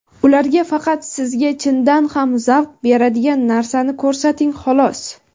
Ularga faqat sizga chindan ham zavq beradigan narsani ko‘rsating xolos.